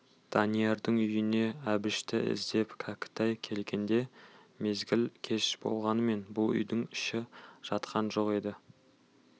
даниярдың үйіне әбішті іздеп кәкітай келгенде мезгіл кеш болғанмен бұл үйдің іші жатқан жоқ еді